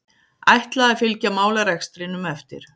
Ætla að fylgja málarekstrinum eftir